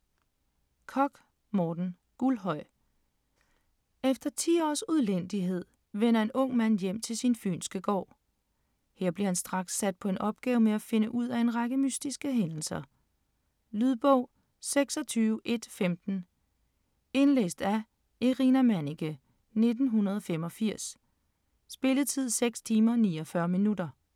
Korch, Morten: Guldhøj Efter 10 års udlændighed vender en ung mand hjem til sin fynske gård. Her bliver han straks sat på en opgave med at finde ud af en række mystiske hændelser. Lydbog 26115 Indlæst af Irina Manniche, 1985. Spilletid: 6 timer, 49 minutter.